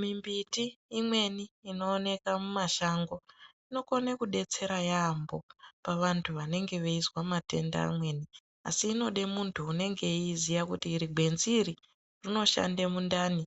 Mimbiti imweni inooneka mumashango inokone kubetsera yaambo pavantu vanenge veizwa matenda amweni. Asi ainode muntu unonge eiiziya kuti iri gwenzi iri rinoshande mundani